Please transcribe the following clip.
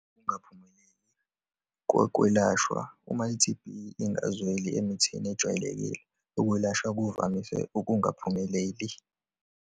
Ukungaphumeleli kokwelashwa. Uma i-T_B ingazweli emithini ejwayelekile, ukwelashwa kuvamise ukungaphumeleli.